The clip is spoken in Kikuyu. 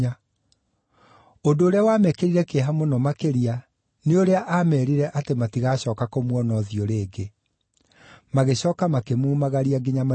Ũndũ ũrĩa wamekĩrire kĩeha mũno makĩria, nĩ ũrĩa aameerire atĩ matigacooka kũmuona ũthiũ rĩngĩ. Magĩcooka makĩmumagaria nginya marikabu-inĩ.